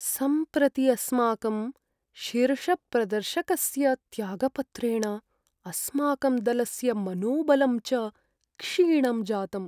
सम्प्रति अस्माकं शीर्षप्रदर्शकस्य त्यागपत्रेण अस्माकं दलस्य मनोबलं च क्षीणं जातम्।